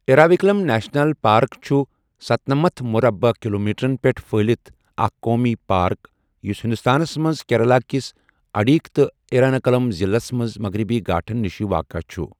Eravikulam national park چُھ ستنمتھ مُربعہٕ کِلومیٖٹرن پیٹھ پھہلِتھ اكھ قومی پارك یُس ہنٛدوستانَس مَنٛز کیرلَہ کِس اِڈُكی تہٕ اِیرِناکُلَم ضِلعَس مَنٛز مغربی گھاٹھن نِشہِ واقع چُھ۔